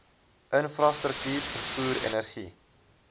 infrastruktuur vervoer energie